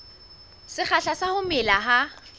sekgahla sa ho mela ha